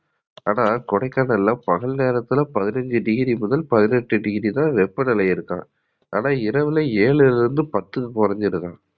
ஆனா கொடைக்கானல்ல பகல் நேரத்துல பதினஞ்சு டிகிரி முதல் பதினெட்டு டிகிரி வரை வெப்பநிலை இருக்காம். ஆனா இரவுல ஏழுல இருந்து பத்துக்கு கொறஞ்சுருதாம்.